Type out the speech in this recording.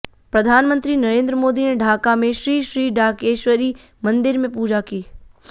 प्रधानमंत्री नरेंद्र मोदी ने ढाका में श्री श्री ढाकेश्वरी मंदिर में पूजा की